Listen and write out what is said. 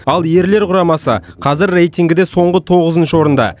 ал ерлер құрамасы қазір рейтингіде соңғы тоғызыншы орында